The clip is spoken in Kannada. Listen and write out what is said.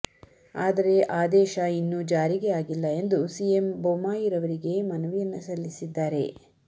ಆದರೆ ಆದೇಶ ಇನ್ನೂ ಜಾರಿಗೆ ಆಗಿಲ್ಲ ಎಂದು ಸಿಎಂ ಬೊಮ್ಮಾಯಿರವರಿಗೆ ಮನವಿಯನ್ನ ಸಲ್ಲಿಸಿದ್ದಾರೆ